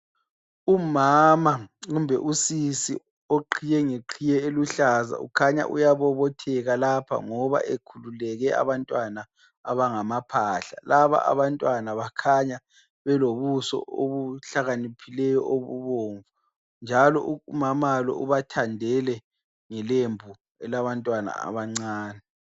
Umama kumbe usisi ogqiye ngegqiye eluhlaza kukhanya uyabobotheka lapha ngoba ekhululeke abantwana abangamaphahla. Laba abantwana bakhanya belobuso obuhlakaniphileyo obubomvu. Njalo umama lo ubathandele ngelembu elabantwana abancane.